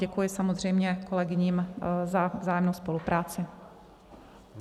Děkuji samozřejmě kolegyním za vzájemnou spolupráci.